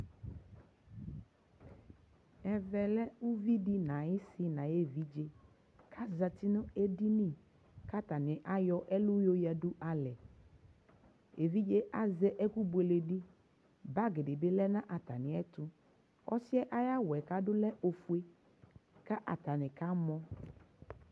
Ɛvɛ lɛ uvidɩ n'ayɩsɩ n'ayevidze : azati n'edini k'atanɩ ayɔ ɛlʋ yoyǝdu n'alɛ Evidze azɛ ɛkʋ bueledɩ , bagdɩ bɩ lɛ nʋ atamɩɛtʋ ɔsɩɛ ayawʋɛ k'adʋɛ lɛ ofue , ka atanɩ kamɔ